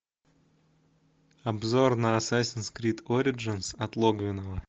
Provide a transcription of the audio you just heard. обзор на ассасинс крид ориджинс от логвинова